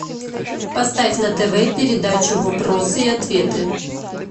поставь на тв передачу вопросы и ответы